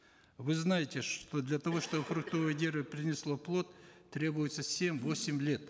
вы знаете что для того чтобы фруктовое дерево принесло плод требуется семь восемь лет